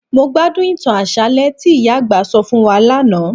Mó gbádùn ìtàn àṣálẹ́ tí ìyá àgbà sọ fún wa lánàá